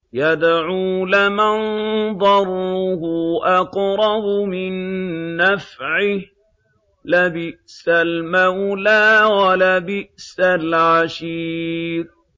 يَدْعُو لَمَن ضَرُّهُ أَقْرَبُ مِن نَّفْعِهِ ۚ لَبِئْسَ الْمَوْلَىٰ وَلَبِئْسَ الْعَشِيرُ